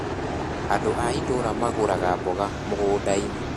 Andũ a itũra magũraga mboga mũgũnda-inĩ